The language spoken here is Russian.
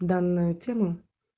данную тему